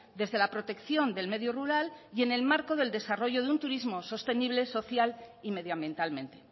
desde la protección del medio rural y en el marco del desarrollo de un turismo sostenible social y medioambientalmente